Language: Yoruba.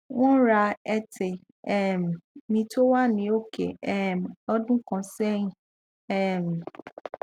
won ran ẹtè um mi tó wà ní òkè um lọdún kan sẹyìn um